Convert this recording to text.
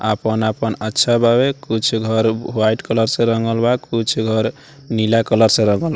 आपन-आपन अच्छा बावे कुछ घर वाइट कलर से रंगल बा कुछ घर नीला कलर से रंगल --